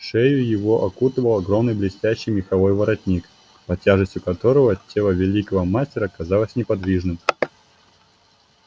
шею его окутывал огромный блестящий меховой воротник под тяжестью которого тело великого мастера казалось неподвижным